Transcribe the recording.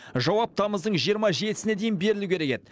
жауап тамыздың жиырма жетісіне дейін берілу керек еді